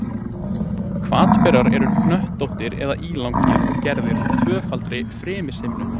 Hvatberar eru hnöttóttir eða ílangir og gerðir úr tvöfaldri frymishimnu.